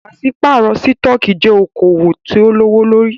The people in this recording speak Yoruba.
Pàṣípàrọ̀ sítọ̀kì jẹ́ okoòwò tí o lówó lórí.